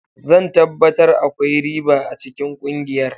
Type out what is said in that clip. Zan tabbatar akwai riba a cikin kungiyar.